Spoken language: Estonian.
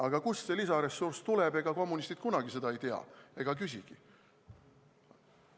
Aga kust see lisaressurss tuleb, ega kommunistid kunagi seda ei tea ega küsigi.